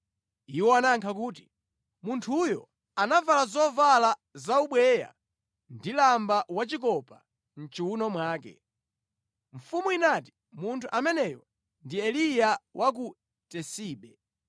Iwo anayankha kuti, “Munthuyo anavala zovala zaubweya ndi lamba wachikopa mʼchiwuno mwake.” Mfumu inati, “Munthu ameneyo ndi Eliya wa ku Tisibe.”